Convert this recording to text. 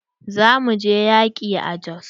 Za mu je yaƙi a Jos.